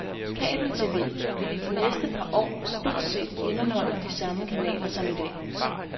Kabeltv vil i de næste par år stort set indeholde de samme kanaler som i dag.